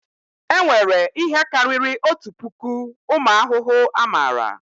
E nwere ihe karịrị otu puku ụmụ ahụhụ a mara